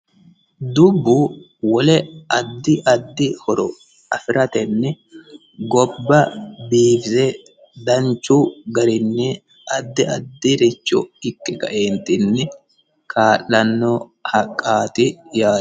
dubbu wole addi addi horo afiratenni gobba biifise danchu garinni addi addi richo iqqe kaeentinni kaa'lanno haqqaati yaate